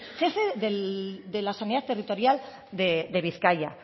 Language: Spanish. jefe de la sanidad territorial de bizkaia